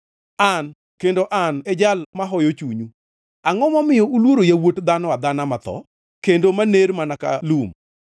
“An, kendo en An e Jal mahoyo chunyu. Angʼo momiyo uluoro yawuot dhano adhana matho, kendo maner mana ka lum,